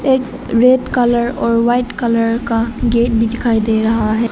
एक red colour और white colour का गेट दिखाई दे रहा है।